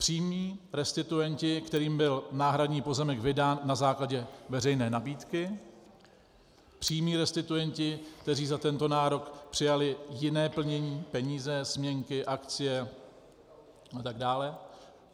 Přímí restituenti, kterým byl náhradní pozemek vydán na základě veřejné nabídky, přímí restituenti, kteří za tento nárok přijali jiné plnění, peníze, směnky, akcie a tak dále.